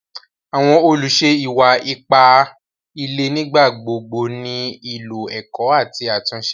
Àwọn olúṣè ìwà-ìpà ìlẹ̀ nígbàgbogbo ní ilọ̀ èkó àti àtúnṣe.